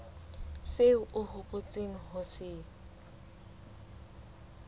seo o hopotseng ho se